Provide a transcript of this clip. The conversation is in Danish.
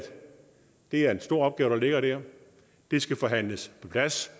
det er en stor opgave der ligger der det skal forhandles på plads